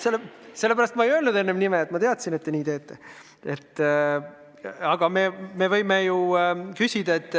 Sellepärast ma ei öelnud enne nime, sest ma teadsin, et te nii teete!